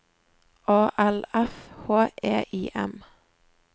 A L F H E I M